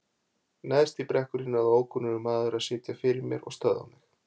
Neðst í brekkunni náði ókunnugur maður að sitja fyrir mér og stöðva mig.